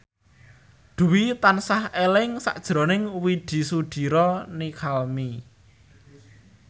Dwi tansah eling sakjroning Widy Soediro Nichlany